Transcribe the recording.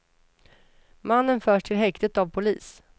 Mannen förs till häktet av polis.